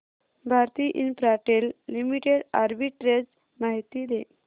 Bharti Infratel Limited arbitrage माहिती दे